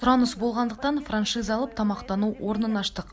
сұраныс болғандықтан франшиза алып тамақтану орнын аштық